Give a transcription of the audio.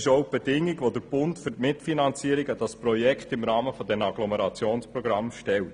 Dies ist auch die Bedingung, welche der Bund für die Mitfinanzierung dieses Projekts im Rahmen der Agglomerationsprogramme stellt.